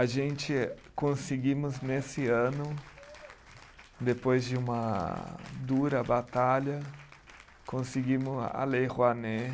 A gente conseguimos nesse ano, depois de uma dura batalha, conseguimos a Lei Rouanet.